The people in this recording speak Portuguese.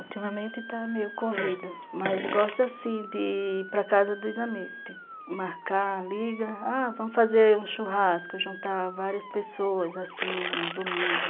Ultimamente está meio corrido, mas gosto assim de ir para casa dos amigos, marcar, ligar, ah, vamos fazer um churrasco, juntar várias pessoas, assim, um domingo.